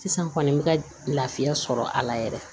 Sisan kɔni n bɛ ka lafiya sɔrɔ a la yɛrɛ